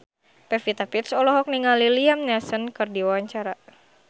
Pevita Pearce olohok ningali Liam Neeson keur diwawancara